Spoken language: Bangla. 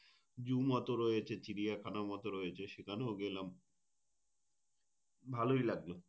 zoo মত রয়েছে, চিড়িয়াখানা মতো রয়ছে সেখানে গেলাম ভালোই লাগলো।